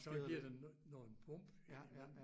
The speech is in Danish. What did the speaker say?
Så den giver den nogle bump indimellem